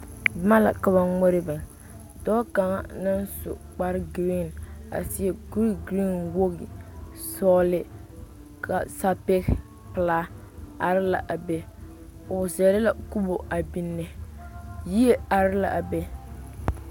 Boma la ka ba ŋmore biŋ dɔɔ kaŋ naŋ su kparegirin a seɛ kurigirin wogi sɔgle ka sapege pelaa are ls a be o zɛle la kubo a biŋne yie are l,a be.